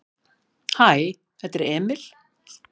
"""Hæ, þetta er Emil."""